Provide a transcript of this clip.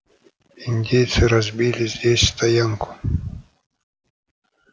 индейцы разбили здесь стоянку